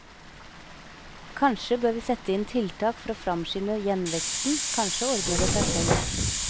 Kanskje bør vi sette inn tiltak for å framskynde gjenveksten, kanskje ordner det seg selv.